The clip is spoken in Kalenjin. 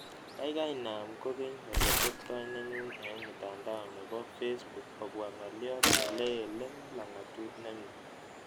Gaigai naam kokeny ole teptoi nenyun eng' mutandao ne po facebook kobwa ng'oliot nele'lelen lakatuut nemnye